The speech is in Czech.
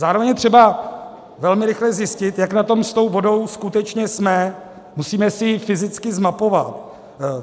Zároveň je třeba velmi rychle zjistit, jak na tom s tou vodou skutečně jsme, musíme si ji fyzicky zmapovat.